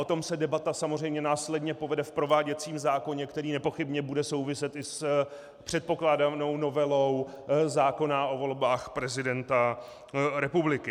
O tom se debata samozřejmě následně povede v prováděcím zákoně, který nepochybně bude souviset i s předpokládanou novelou zákona o volbách prezidenta republiky.